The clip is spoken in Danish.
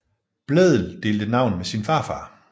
Blædel delte navn med sin farfar